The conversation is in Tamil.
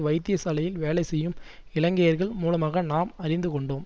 வைத்தியசாலையில் வேலைசெய்யும் இலங்கையர்கள் மூலமாக நாம் அறிந்து கொண்டோம்